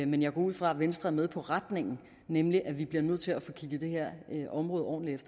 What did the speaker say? men jeg går ud fra at venstre er med på retningen nemlig at vi bliver nødt til at få kigget det her område ordentligt